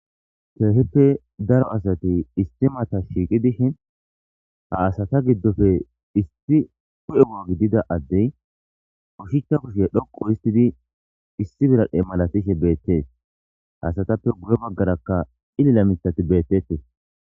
Keehippe daro asati istimata shiiqi dishe ha asata giddofe issi u7e wo7ogidida addey ushicha kushe dhoqo histidi issi biradhe malatishe beettees haasatappe gure baggarakka xillila mitati beettetee.